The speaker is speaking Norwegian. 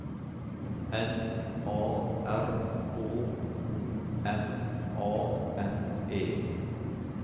N A R K O M A N E